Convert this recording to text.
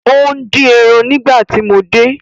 O n din eran nigbati mo de